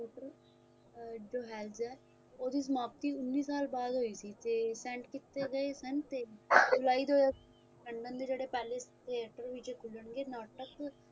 uh the hijack ਉਸ ਦੀ ਸਮਾਪਤੀ ਉੱਨੀ ਸਾਲ ਬਾਅਦ ਹੋਈ ਸੀ ਤੇ send ਕੀਤੇ ਗਏ ਸਨ ਤੇ july ਦੋ ਹਜ਼ਾਰ london ਦੇ ਜੋੜੇ palace theater ਦੇ ਵਿੱਚ ਖੁੱਲਣਗੇ ਨਾਟਕ